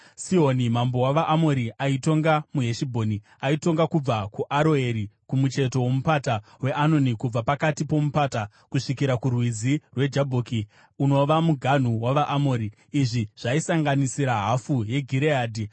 Sihoni mambo wavaAmori, aitonga muHeshibhoni. Aitonga kubva kuAroeri kumucheto woMupata weAnoni, kubva pakati pomupata, kusvikira kuRwizi rweJabhoki, unova muganhu wavaAmori. Izvi zvaisanganisira hafu yeGireadhi.